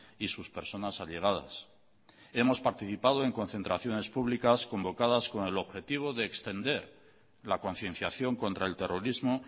y sus personas allegadas hemos participado en concentraciones públicas convocadas con el objetivo de extender la concienciación contra el terrorismo